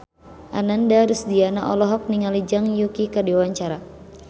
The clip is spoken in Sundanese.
Ananda Rusdiana olohok ningali Zhang Yuqi keur diwawancara